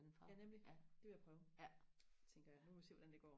ja nemlig det vil jeg prøve tænker jeg nu må vi se hvordan det går